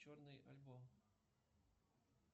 черный альбом